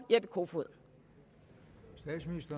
jeppe kofod